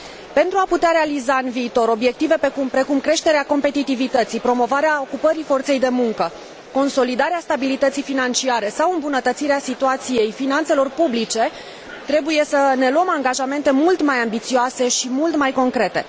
Pentru a putea realiza în viitor obiective precum creșterea competitivității, promovarea ocupării forței de muncă, consolidarea stabilității financiare sau îmbunătățirea situației finanțelor publice, trebuie să ne luăm angajamente mult mai ambițioase și mult mai concrete.